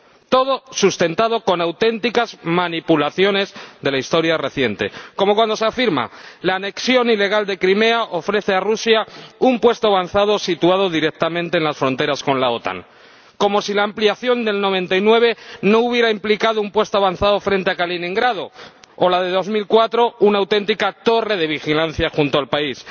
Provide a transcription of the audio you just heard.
Todo sustentado con auténticas manipulaciones de la historia reciente, como cuando se afirma que la anexión ilegal de Crimea ofrece a Rusia un puesto avanzado situado directamente en las fronteras con la OTAN, como si la ampliación de 1999 no hubiera implicado un puesto avanzado frente a Kaliningrado o la de 2004 una auténtica torre de vigilancia junto al país.